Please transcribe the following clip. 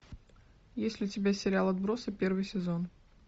есть ли у тебя сериал отбросы первый сезон